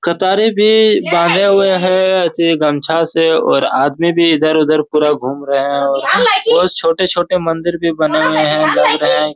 कतारी भी बाँधे हुए हैं एती गमछा से और आदमी भी इधर-उधर पूरा घूम रहे हैं और उस छोटे-छोटे मंदिर भी बने हुए हैं बन रहे हैं।